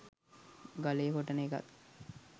ගලේ කොටන එකත්